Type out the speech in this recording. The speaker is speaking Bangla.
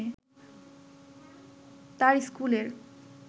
তার স্কুলের